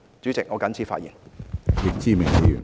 主席，我謹此陳辭。